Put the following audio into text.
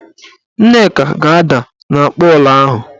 Nneka ga-ada n'akpoola ahụ.